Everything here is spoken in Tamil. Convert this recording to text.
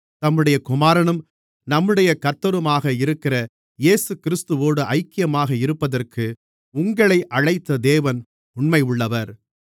தம்முடைய குமாரனும் நம்முடைய கர்த்தருமாக இருக்கிற இயேசுகிறிஸ்துவோடு ஐக்கியமாக இருப்பதற்கு உங்களை அழைத்த தேவன் உண்மையுள்ளவர்